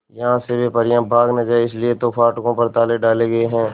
यहां से वे परियां भाग न जाएं इसलिए तो फाटकों पर ताले डाले गए हैं